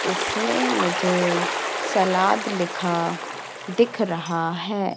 इसमें मुझे सलाद लिखा दिख रहा है।